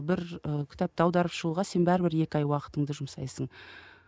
бір і кітапты аударып шығуға сен бәрібір екі ай уақытыңды жұмсайсың